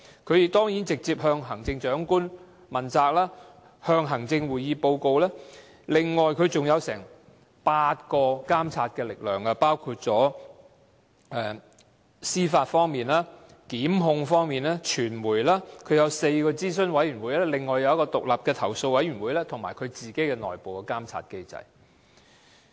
廉署當然直接向行政長官負責，要向行政會議作出報告，另外還有接近8種監察力量，包括司法方面、檢控方面、傳媒，它有4個諮詢委員會，另外有一個獨立的投訴委員會，以及有自己的內部監察機制。